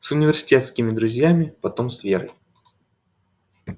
с университетскими друзьями потом с верой